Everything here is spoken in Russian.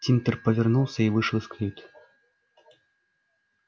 тинтер повернулся и вышел из каюты